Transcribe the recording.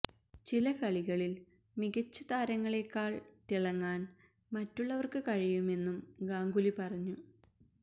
ചില കളികളില് മികച്ച താരങ്ങളെക്കാല് തിളങ്ങാന് മറ്റുള്ളവര്ക്ക് കഴിയുമെന്നും ഗാംഗുലി പറഞ്ഞു